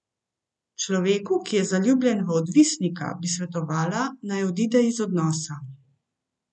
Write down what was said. Človeku, ki je zaljubljen v odvisnika, bi svetovala, naj odide iz odnosa.